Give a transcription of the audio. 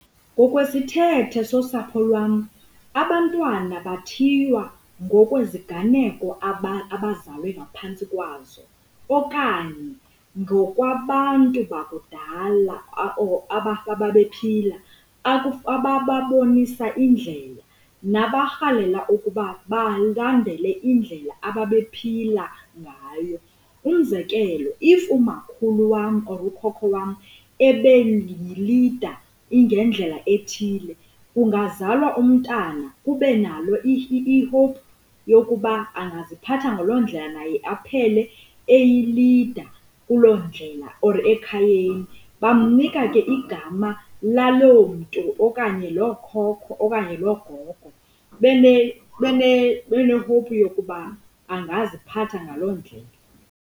Ngokwezithethe sosapho lwam abantwana bayathiywa ngokweziganeko abazalwe ngaphantsi kwazo okanye ngokwabantu bakudala or ababephila abababonisa indlela, nabarhalela ukuba balandele indlela ababephila ngayo. Umzekelo, if umakhulu wam or ukhokho wam ebeyilida ingendlela ethile kungazalwa umntana kube nalo i-hope yokuba angaziphatha ngaloo ndlela naye aphele eyilida kuloo ndlela or ekhayeni. Bamnika ke igama laloo mntu okanye loo khokho okanye loo gogo bene-hope yokuba angaziphatha ngaloo ndlela.